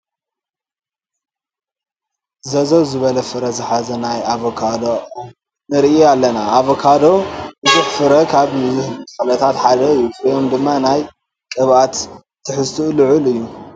ዘዘው ዝበለ ፍረ ዝሓዘ ናይ ኣቮካዶ ኦም ንርኢ ኣለና፡፡ ኣቮካዶ ብዙሕ ፍረ ካብ ዝህቡ ተኽልታት ሓደ እዩ፡፡ ፍሪኡ ድማ ናይ ቅብኣት ትሕዝቱኡ ልዑል እዩ፡፡